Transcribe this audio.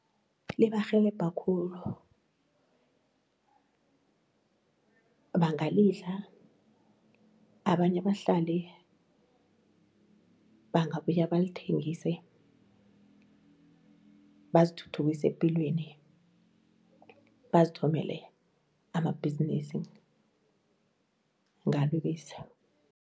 libarhelebha khulu bangalidla, abanye bahlale, bangabuya balithengise bazithuthukise epilweni, bazithomele amabhizinisi ngalo ibisi.